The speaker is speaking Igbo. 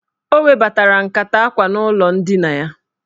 O webatara nkata akwa n'ụlọ ndina ya.